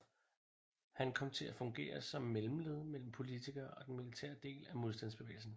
Han kom til at fungere som mellemled mellem politikere og den militære del af modstandsbevægelsen